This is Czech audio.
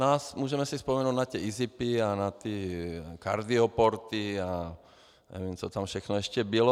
No a můžeme si vzpomenout na ty izipy, na ty kardioporty a nevím, co tam všechno ještě bylo.